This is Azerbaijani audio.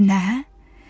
Nə?